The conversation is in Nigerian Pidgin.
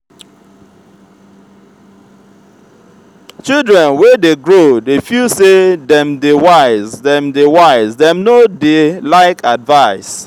children wey dey grow dey feel sey dem dey wise dem dey wise dem no dey like advice.